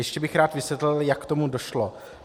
Ještě bych rád vysvětlil, jak k tomu došlo.